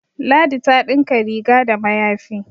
ladi ta dinka rig da mayafi